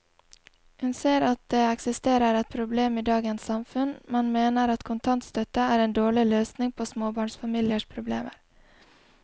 Hun ser at det eksisterer et problem i dagens samfunn, men mener at kontantstøtte er en dårlig løsning på småbarnsfamiliers problemer.